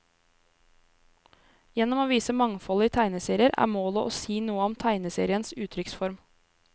Gjennom å vise mangfoldet i tegneserier, er målet å si noe om tegneseriens uttrykksform.